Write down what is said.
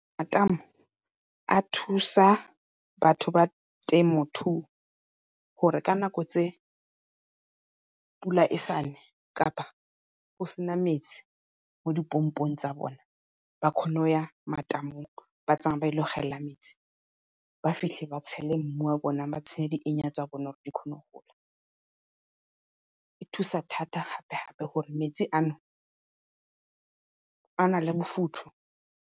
Matamo a thusa batho ba temothuo gore ka nako tse pula e sa ne kapa go sena metsi mo dipompong tsa bone ba kgone go ya matamong. Ba tsamaye ba ile go gelela metsi, ba fitlhe ba tshele mmu wa bone ba tshele di tsa bona gore di kgone go gola. E thusa thata gape-gape gore metsi a no a na le bofutho.